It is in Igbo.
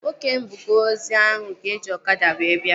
Nwoke mbuga ozi ahụ ga-eji ọkada wee bịa